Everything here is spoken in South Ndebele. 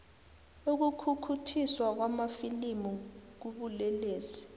ukukhukhuthiswa kwamafilimu kubulelesi